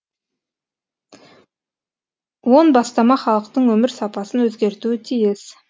он бастама халықтың өмір сапасын өзгертуі тиіс